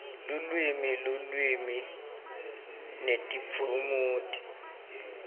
lulwimi lulwimi netiphumuti